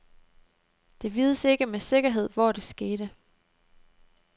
Det vides ikke med sikkerhed, hvor det skete.